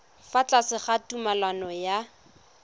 fa tlase ga tumalano ya